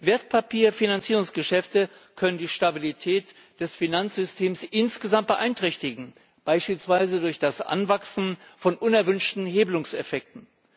Wertpapierfinanzierungsgeschäfte können die Stabilität des Finanzsystems insgesamt beeinträchtigen, beispielsweise durch das Anwachsen von unerwünschten Hebelungseffekten.